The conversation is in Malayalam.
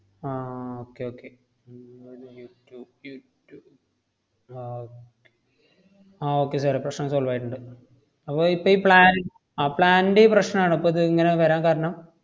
ആഹ് okay okay ഉം ആഹ് ആഹ് okay sir ഏ പ്രശ്‌നം solve ആയിട്ടൊണ്ട്. അപ്പ ഇപ്പയീ plan അഹ് plan ന്‍റെയീ പ്രശ്നാണോ ഇപ്പത് ങ്ങനെ വരാന്‍ കാരണം?